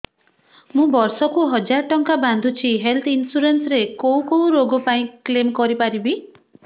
ମୁଁ ବର୍ଷ କୁ ହଜାର ଟଙ୍କା ବାନ୍ଧୁଛି ହେଲ୍ଥ ଇନ୍ସୁରାନ୍ସ ରେ କୋଉ କୋଉ ରୋଗ ପାଇଁ କ୍ଳେମ କରିପାରିବି